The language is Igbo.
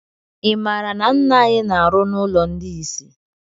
I maara na ńnà anyị na arụ n' ụlọ ndị isi?